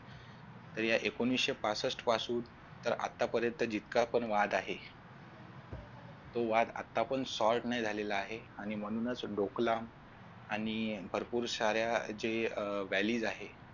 तर या एकोणविशे पासष्ट पासून तर आतापर्यंत जितका पण वाद आहे तू वाद आता पण sort नाही झालेला आहे आणि म्हणूनच ढोकळा आणि भरपूर साऱ्या जे अह आहेत